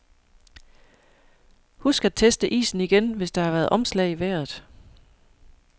Husk at teste isen igen, hvis der har været omslag i vejret.